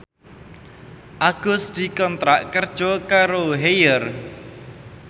Agus dikontrak kerja karo Haier